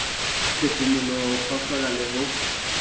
phefumoloho ho kgohlola le ho